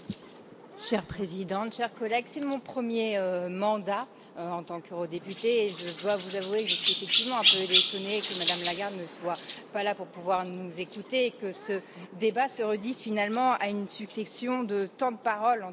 Madame la Présidente, chers collègues, c'est mon premier mandat en tant qu'eurodéputée, et je dois vous avouer que je suis effectivement un peu étonnée que Mme Lagarde ne soit pas là pour pouvoir nous écouter, que ce débat se réduise finalement à une succession de temps de parole.